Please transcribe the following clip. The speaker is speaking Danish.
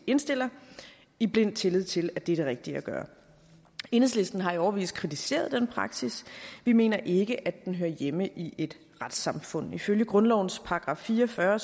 indstiller i blind tillid til at det er det rigtige at gøre enhedslisten har i årevis kritiseret den praksis vi mener ikke at den hører hjemme i et retssamfund ifølge grundlovens § fire og fyrre